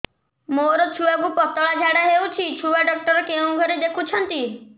ମୋର ଛୁଆକୁ ପତଳା ଝାଡ଼ା ହେଉଛି ଛୁଆ ଡକ୍ଟର କେଉଁ ଘରେ ଦେଖୁଛନ୍ତି